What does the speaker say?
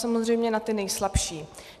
Samozřejmě na ty nejslabší.